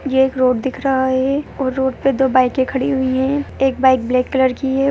ये एक रोड दिख रहा है और रोड पे दो बाइके खड़ी हुई है एक बाइक ब्लैक कलर की --